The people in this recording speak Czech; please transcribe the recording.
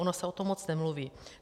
Ono se o tom moc nemluví.